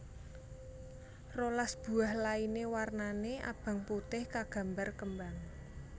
rolas buah lainé warnané abang putih kagambar kembang